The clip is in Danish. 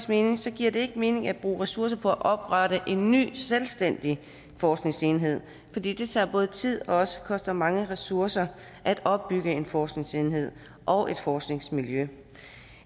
mening giver det ikke mening at bruge ressourcer på at oprette en ny selvstændig forskningsenhed for det det tager både tid og koster mange ressourcer at opbygge en forskningsenhed og et forskningsmiljø